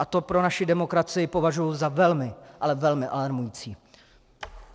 A to pro naši demokracii považuji za velmi, ale velmi alarmující.